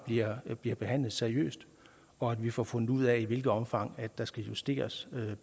der er bliver behandlet seriøst og at vi får fundet ud af i hvilket omfang der skal justeres